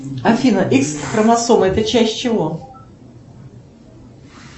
афина икс хромосома это часть чего